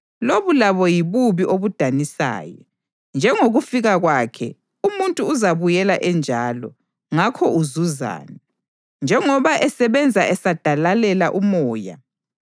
Lobu labo yibubi obudanisayo: Njengokufika kwakhe, umuntu uzabuyela enjalo, ngakho uzuzani, njengoba esebenza esadalalela umoya?